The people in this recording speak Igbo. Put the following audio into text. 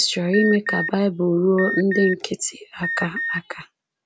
Chris chọrọ ime ka Bible ruo ndị nkịtị aka aka